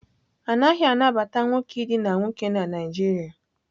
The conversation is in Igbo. A naghị anabata nwoke idina nwoke na Naịjirịa.